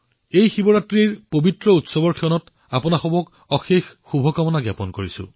এই শিৱৰাত্ৰিৰ মহান পৰ্বত মই আপোনালোকলৈ অলেখ শুভকামনা জনালো